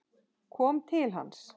Ég kom til hans.